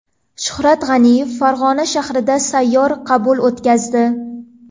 Shuhrat G‘aniyev Farg‘ona shahrida sayyor qabul o‘tkazdi.